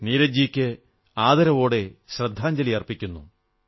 നീരജ് ജിയിക്ക് ആദരവോടെ ശ്രദ്ധാഞ്ജലി അർപ്പിക്കുന്നു